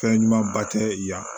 Fɛn ɲuman ba tɛ yan